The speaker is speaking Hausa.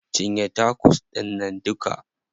Cinye tacos ɗInnan duka.